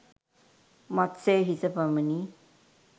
මත්ස්‍ය හිස පමණි.